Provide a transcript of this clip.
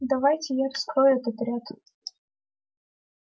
давайте я вскрою этот ряд